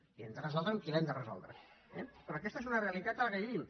i l’hem de resoldre amb qui l’hem de resoldre eh però aquesta és una realitat en la qual vivim